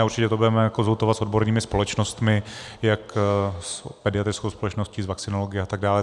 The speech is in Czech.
A určitě to budeme konzultovat s odbornými společnostmi, jak s pediatrickou společností, s vakcinology a tak dále.